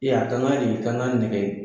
Ee a kan nɛgɛ